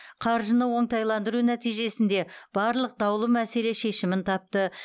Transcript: қаржыны оңтайландыру нәтижесінде барлық даулы мәселе шешімін тапты